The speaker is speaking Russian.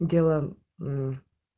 дела мм